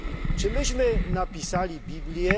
Czy myśmy napisali Biblię?